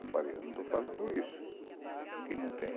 Eu falei, eu não estou falando isso, aqui não tem.